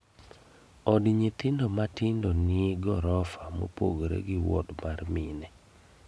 Od nyithindo matindo ni ni gorofa mopogore gi wod mar mine